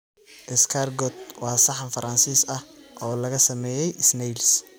Escargot waa saxan Faransiis ah oo laga sameeyay snails.